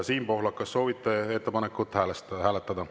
Siim Pohlak, kas soovite ettepanekut hääletada?